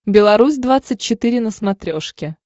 беларусь двадцать четыре на смотрешке